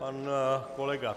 Pan kolega